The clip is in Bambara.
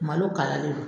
Malo kala le don